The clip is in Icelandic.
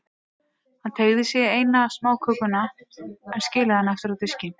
Hann teygði sig í eina smákökuna, en skilaði henni aftur á diskinn.